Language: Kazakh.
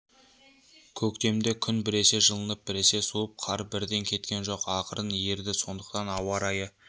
көктемде күн біресе жылынып біресе суып қар бірден кеткен жоқ ақырын еріді сондықтан ауа райы